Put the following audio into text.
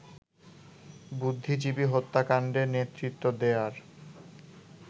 বুদ্ধিজীবী হত্যাকাণ্ডে নেতৃত্ব দেয়ার